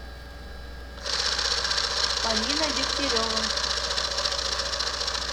полина дегтярева